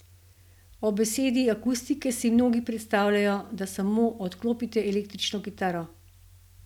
Ob besedi akustike si mnogi predstavljajo, da samo odklopite električno kitaro.